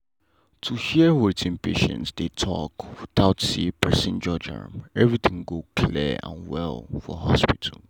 to hear wetin patient dey talk without say person judge am everything go clear and well for hospital.